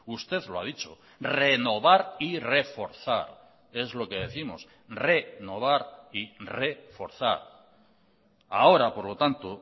usted lo ha dicho renovar y reforzar es lo que décimos renovar y reforzar ahora por lo tanto